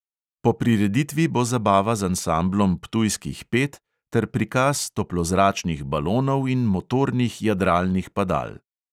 Po prireditvi bo zabava z ansamblom ptujskih pet ter prikaz toplozračnih balonov in motornih jadralnih padal.